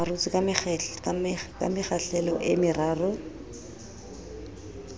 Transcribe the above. arotswe ka mekgahlelo e meraro